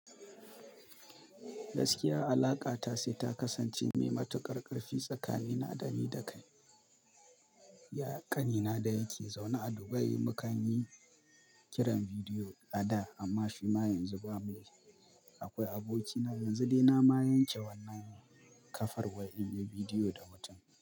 Gaskiya alaƙata sai ta kasance mai matuƙar ƙarfi tsakanina dani da kai. Ya ƙanina da yake zaune a Dubai mukan yi kiran bidiyo a da amma shi ma yanzu bamu yi. Akwai abokina yanzu dai na ma yanke wannan kafar wai in yi bidiyo da mutun.